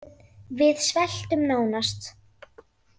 Við sveltum nánast